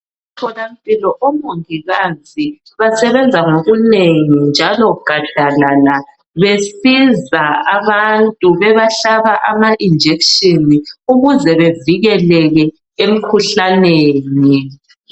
Emtholampilo omongikazi basebenza ngokunengi njalo gadalala besiza abantu bebahlaba ama injection ukuze bevikeleke emkhuhlaneni